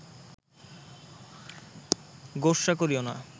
গোস্বা করিও না